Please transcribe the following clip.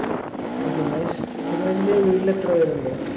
അപ്പൊ സുമേഷ് സുമേഷിന്റെ ഈ വീട്ടിൽ എത്ര പേരുണ്ട്